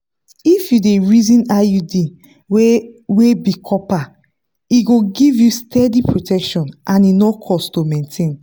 if you dey reason iud wey wey be copper e go give you steady protection and e no cost to maintain.